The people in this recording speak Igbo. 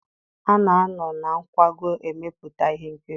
A na-anọ na nkwago emepụta ihe nkiri.